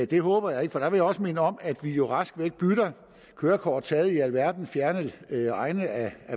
det håber jeg ikke for der vil jeg også minde om at vi jo rask væk bytter kørekort taget i alverdens fjerne egne af